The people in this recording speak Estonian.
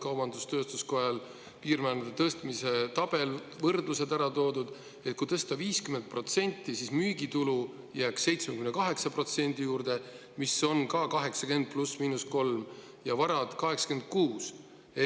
Kaubandus-tööstuskojal on tehtud piirmäärade tõstmise tabel, kus on ära toodud võrdlus: kui tõsta 50%, siis müügitulu jääks 78% juurde, mis on ka 80% +/–3%, ja varad 86% juurde.